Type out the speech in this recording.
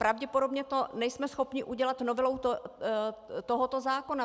Pravděpodobně to nejsme schopni udělat novelou tohoto zákona.